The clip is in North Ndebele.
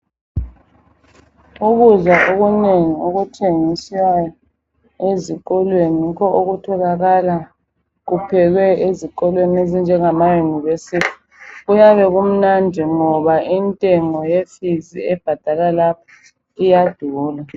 Ukudla okunenginengi okuthengiswa ezikolweni yikho okutholakala kuphekwe ezikolweni ezinjengamayunivesithi. Kuyabe kumnandi ngoba intengo yefizi ebhadalwa lapho iyadula.